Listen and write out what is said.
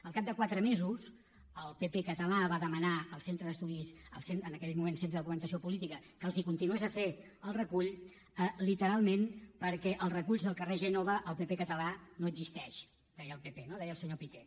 al cap de quatre mesos el pp català va demanar al en aquell moment centre de documentació política que els continués fent el recull literalment perquè als reculls del carrer gènova el pp català no existeix deia el pp no deia el senyor piqué